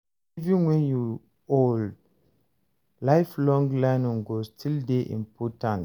Even wen you old, lifelong learning go still dey important.